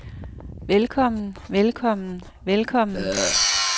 velkommen velkommen velkommen